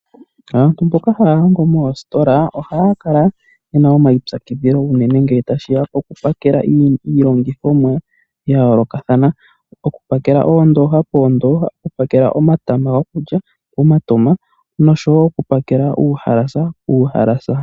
Aantu mboka haya longo moositola ohaya kala yena omaipyakidhilo unene ngele tashiya pokupakela iilongithomwa yayoolokathana. Okupakela oondooha poondooha, okupakela omatama gokulya pomatama nosho wo okupakela uuhalasa.